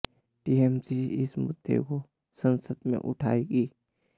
TMC इस मुद्दे को संसद में भी उठाएगी